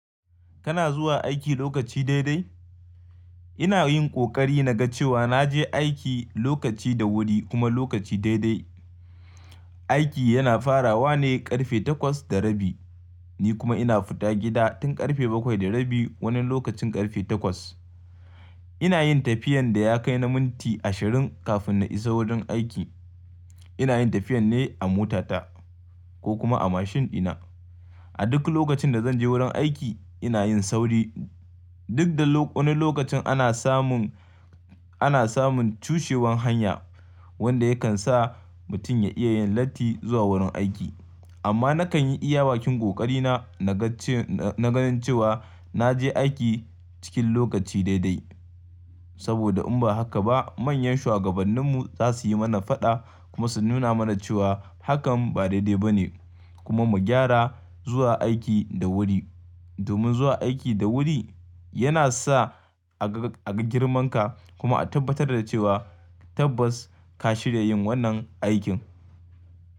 Kana zuwa aiki lokaci daidai? Ina yin ƙoƙari na ga cewa na je aiki lokaci da wuri kuma lokaci daidai. Aiki yana farawa ne ƙarfe takwas da rabi, ni kuma ina fita gida tun ƙarfe bakwai da rabi, wani lokacin ƙarfe takwas. Ina yin tafiyan da ya kai na minti ashirin kafin na isa wurin aiki. Ina yin tafiyan ne a motata, ko kuma a mashin ɗina. A duk lokacin da zan je wurin aiki, ina yin sauri duk da wani lokacin ana samun, ana samun cushewan hanya, wanda yakan sa mutum ya iya yin latti zuwa wurin aiki. Amma nakan yi iya bakin ƙoƙari na, na ga ce-- na ganin cewa na je aiki cikin lokaci daidai. Saboda in ba haka ba, manyan shuwagabanninmu za su yi mana faɗa, kuma su nuna mana cewa hakan ba daidai ba ne, kuma mu gyara zuwa aiki da wuri. Domin zuwa aiki da wuri, yana sa a ga, a ga girman ka, kuma a tabbatar da cewa tabbas ka shirya yin wannan aikin.